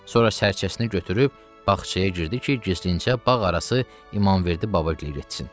Sonra sərkəsini götürüb bağçaya girdi ki, gizlincə bağarası İmamverdi babagilə getsin.